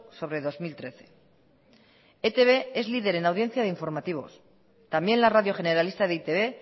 sobre dos mil trece e i te be es líder en audiencia de informativos también la radio generalista de e i te be